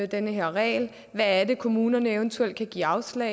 den her regel kan kommunerne eventuelt give afslag